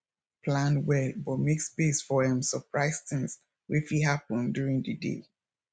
plan well but make space for um surprise things wey fit happen during the day